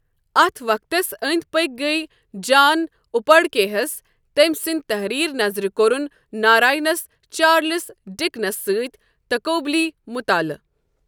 اتھ وقتس ٲندۍ پٔکۍ گٔیہ جان اُپڈکے ہس تمہِ سٕندِ تحریر نظرِ کورُن ناراینس چارلِس ڈِکنس سٕتۍ تقوبلی مُطالعہٕ۔